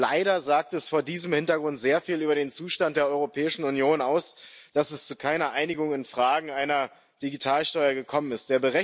Leider sagt es vor diesem Hintergrund sehr viel über den Zustand der Europäischen Union aus, dass es zu keiner Einigung in Fragen einer Digitalsteuer gekommen ist.